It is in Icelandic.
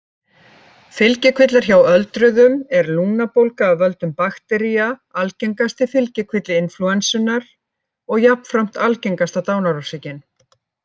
Fylgikvillar Hjá öldruðum er lungnabólga af völdum baktería algengasti fylgikvilli inflúensunnar og jafnframt algengasta dánarorsökin.